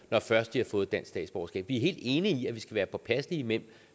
når først de har fået dansk statsborgerskab vi er helt enige i at vi skal være påpasselige med